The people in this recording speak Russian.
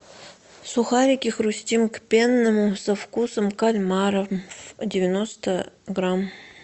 сухарики хрустим к пенному со вкусом кальмара девяносто грамм